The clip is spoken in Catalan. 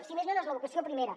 si més no no és la vocació primera